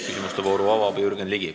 Küsimuste vooru avab Jürgen Ligi.